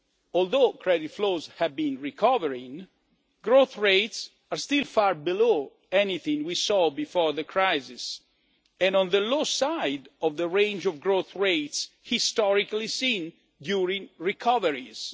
Although credit flows have been recovering, growth rates are still far below anything we saw before the crisis, and on the low side of the range of growth rates historically seen during recoveries.